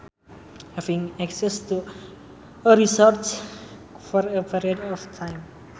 Having access to a resource for a period of time